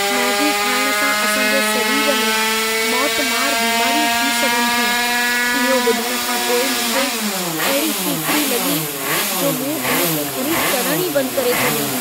Maggi खाइण सां असां जे सरीर में मौतमारु बीमारियूं थी सघनि थियूं। इहो ॿुधण खां पोइ मूंखे अहिड़ी फिफिड़ी लॻी जो मूं इन खे ख़रीद करण ई बंदि करे छॾियो।